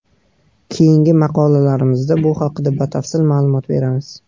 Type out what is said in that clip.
Keyingi maqolalarimizda bu haqda batafsil ma’lumot beramiz.